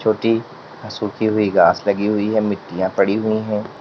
छोटी सुखी हुई घास लगी हुई है मिट्टियां पड़ी हुई है।